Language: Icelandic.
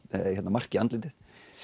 mark í andlitið